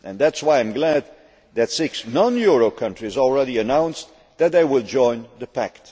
That is why I am glad that six non euro countries have already announced that they will join the Pact.